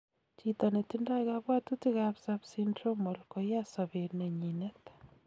Chito netindoi kabwatutik ab subsyndromal koyaa sobet nenyinet